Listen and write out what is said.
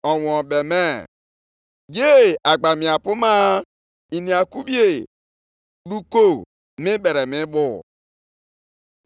“Ihe ndị a ka Onyenwe anyị, Onye pụrụ ime ihe niile kwuru, ‘Jụọ ndị nchụaja ihe iwu na-ekwu.